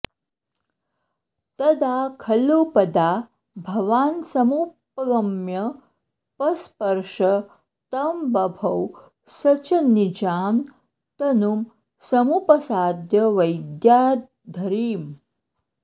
तदा खलु पदा भवान्समुपगम्य पस्पर्श तं बभौ स च निजां तनुं समुपसाद्य वैद्याधरीम्